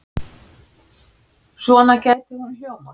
Svona gæti hún hljómað